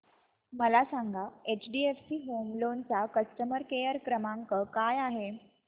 मला सांगा HDFC home loan चा कस्टमर केअर क्रमांक काय आहे